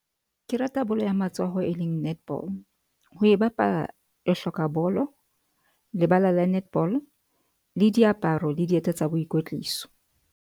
Ke rata bolo ya matsoho, e leng netball ho e bapala, re hloka bolo, lebala la netball-o le diaparo le dieta tsa boikwetliso.